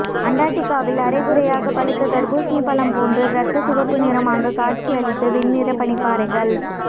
அண்டார்டிகாவில் அரைகுறையாக பழுத்த தர்பூசணி பழம் போன்று ரத்த சிவப்பு நிறமாக காட்சியளித்த வெண்நிற பனிப்பாறைகள்